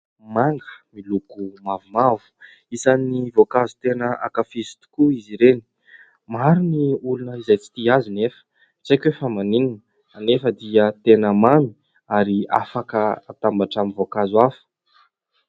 Manga : miloko mavomavo, isan'ny voankazo tena ankafiziko tokoa izy ireny. Maro ny olona izay tsy tia azy nefa, tsy haiko hoe fa maninona ? Nefa dia tena mamy ary afaka hatambatra amin'ny voankazo hafa.